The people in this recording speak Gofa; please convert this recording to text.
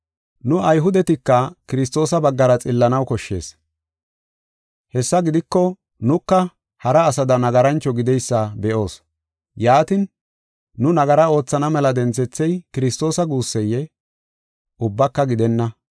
Nu Ayhudetika Kiristoosa baggara xillanaw koshshees. Hessa gidiko nuka hara asada nagarancho gideysa be7oos. Yaatin, nu nagara oothana mela denthethey Kiristoosa guusseyee? Ubbaka gidenna!